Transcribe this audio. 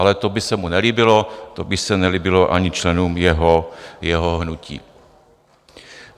Ale to by se mu nelíbilo, to by se nelíbilo ani členům jeho hnutí.